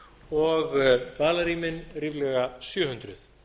og dvalarrýmin ríflega sjö hundruð